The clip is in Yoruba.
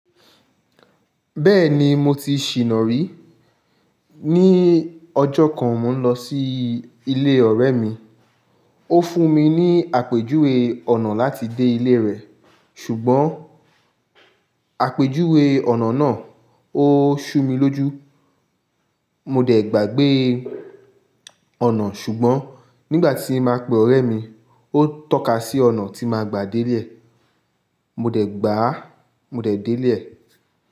Bẹ́ẹ̀ni mo ti ṣìná rí. Ni ọjọ́ kan, mò ń lọ sí ilé ọ̀rẹ́ mi. Ó fún mi ní àpèjúwe ọ̀nà láti dé ilé rẹ̀. Ṣùgbọ́n àpèjúwe ọ̀nà náà ó ṣú mi lójú. Mo dẹ̀ gbàgbé ọ̀nà, ṣùgbọ́n nígbà tí mo máa pe ọ̀rẹ́ mi, ó tọ́ka sí ọ̀nà tí màá gbà dé ile e. Mo dẹ̀ gbàá, mo dẹ̀ dé ile e.